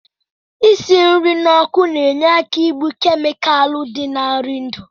Isi nri n'ọkụ na-enye aka igbu kemikalụ dị na nri ndụ